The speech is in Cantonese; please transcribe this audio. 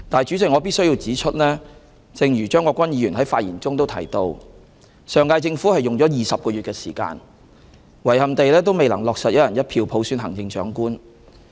"主席，我必須指出，正如張國鈞議員在發言中提到，上屆政府用了20個月的時間，遺憾地也未能落實"一人一票"普選行政長官。